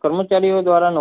કર્મચારીઓ દ્વારા